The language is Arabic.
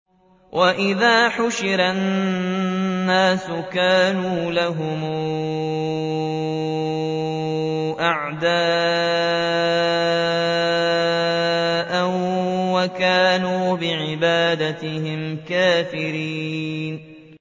وَإِذَا حُشِرَ النَّاسُ كَانُوا لَهُمْ أَعْدَاءً وَكَانُوا بِعِبَادَتِهِمْ كَافِرِينَ